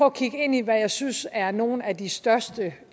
at kigge ind i hvad jeg synes er nogle af de største